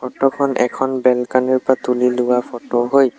Photo খন এখন balcony ৰ পৰা তুলি লোৱা ফটো হয়।